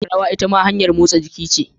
Rawa itama hanyar motsa jiki ce.